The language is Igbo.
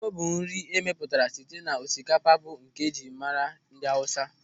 Tuwo bụ nri e mepụtara site n'osikapa bụ nke e jiri mara ndị Awụsa.